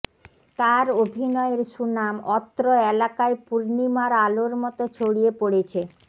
তার অভিনয়ের সুনাম অত্র এলাকায় পূর্ণিমার আলোর মত ছড়িয়ে পড়েছে